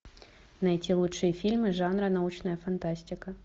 найти лучшие фильмы жанра научная фантастика